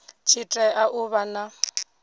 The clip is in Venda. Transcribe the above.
tshi tea u vha na